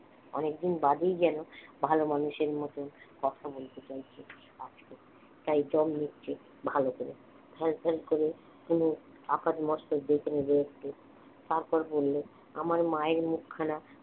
অনেকদিন বাদেই যেন ভালো মানুষের মতন কথা বলতে চাইছে আজকে তাই দম নিচ্ছে ভালো করে ফ্যালফ্যাল করে অনুর আপাদমস্তক দেখে নিল একটু তারপর বললে আমার মায়ের মুখখানা